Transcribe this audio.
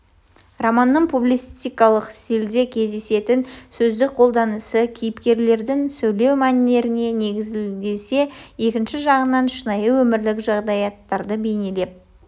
романның публицистикалық стильде кездесетін сөздік қолданысы кейіпкерлердің сөйлеу мәнеріне негізделсе екінші жағынан шынайы өмірлік жағдаяттарды бейнелеп